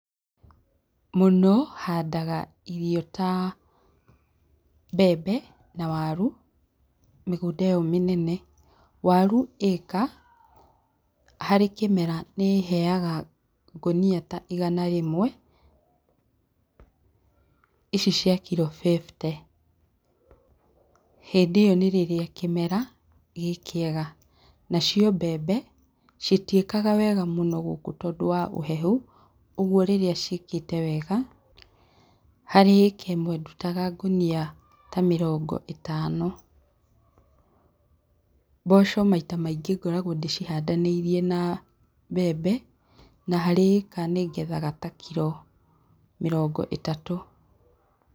Mũno handaga irio ta mbembe na waru mĩgũnda ĩyo mĩnene. Waru ĩka harĩ kĩmera nĩĩheyaga ngũnia ta igana rĩmwe, ici cia kiro fifty, hĩndĩ ĩyo nĩ rĩrĩa kĩmera kĩrĩ kĩega. Nacio mbembe citiĩkaga wega mũno gũkũ nĩũndũ wa ũhehu, ũguo rĩrĩa ciĩkĩte wega harĩ ĩka ĩmwe ndutaga ta ngũnia mĩrongo ĩtano. Mboco maita maingĩ ngoragwo ndĩcihandanĩirie na mbembe na harĩ ĩka nĩngethaga kiro ta mĩrongo ĩtatũ.